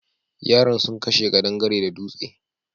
Yaran sun kashe ƙadangare da dutse.